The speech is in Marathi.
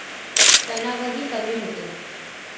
तणावही कमी होतो.